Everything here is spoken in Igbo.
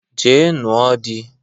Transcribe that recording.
Jee nụo di!